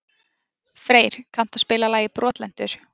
Freyr, kanntu að spila lagið „Brotlentur“?